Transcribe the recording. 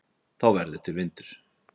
þá verður til vindur